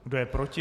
Kdo je proti?